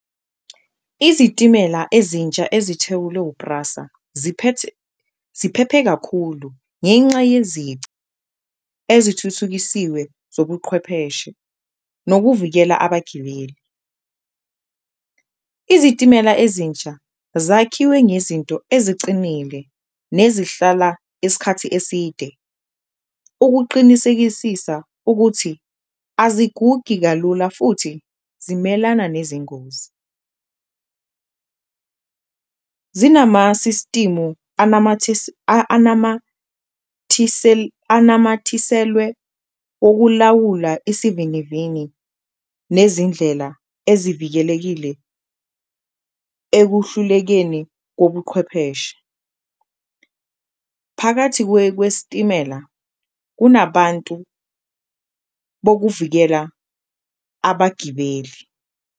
Izitimela ezintsha ezithewulwe PRASA ziphephe kakhulu ngenxa yezici ezithuthukisiwe zobuqhwepheshe nokuvikela abagibeli, izitimela ezintsha zakhiwe ngezinto ezicinile nezihlala iskhathi eside ukuqinisekisisa ukuthi azigugi kalula futhi zimelana nezingozi . Zinamasistimu anamathiselwe ukulawula isivinivini nezindlela ezivikelekile ekuhlulekeni kobuqhwepheshe, phakathi kwesitimela kunabantu bokuvikela abagibeli.